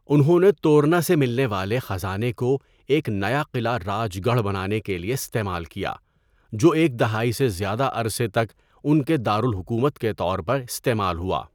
انہوں نے تورنا سے ملنے والے خزانے کو ایک نیا قلعہ راج گڑھ بنانے کے لیے استعمال کیا، جو ایک دہائی سے زیادہ عرصے تک ان کے دار الحکومت کے طور پر استعمال ہوا۔